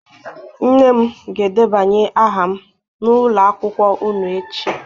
Nne m ga-edebanye aha m n'ụlọ akwụkwọ unu echi